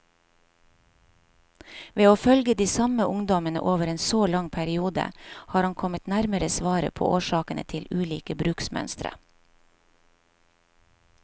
Ved å følge de samme ungdommene over en så lang periode, har han kommet nærmere svaret på årsakene til ulike bruksmønstre.